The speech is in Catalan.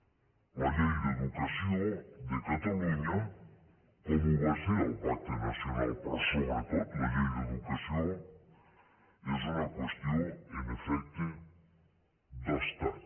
la llei d’educació de catalunya com ho va ser el pacte nacional però sobretot la llei d’educació és una qüestió en efecte d’estat